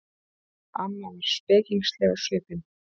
Amma var spekingsleg á svipinn.